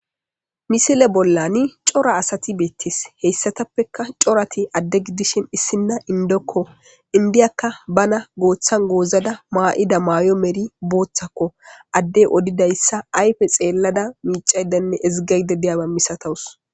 misile bollani cora asati beettes heyssatappeka corati adde gidishin issinna indokko indiyakka bana gooththan goozada maa7ida maayo meri booththakko addey odidayssa ayfe xeellada miicaydenne ezigayde deyaba misatawus